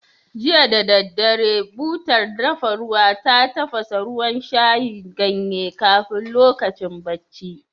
Jiya da daddare, butar dafa ruwa ta tafasa ruwan shayin ganye kafin lokacin bacci.